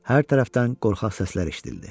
Hər tərəfdən qorxaq səslər eşidildi.